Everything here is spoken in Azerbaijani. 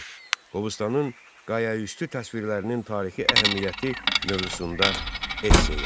4. Qobustanın qayaüstü təsvirlərinin tarixi əhəmiyyəti mövzusunda esse yaz.